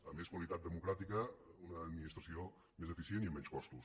a més qualitat democràtica una administració més eficient i amb menys costos